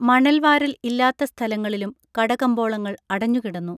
മണൽവാരൽ ഇല്ലാത്ത സ്ഥലങ്ങളിലും കടകമ്പോളങ്ങൾ അടഞ്ഞുകിടന്നു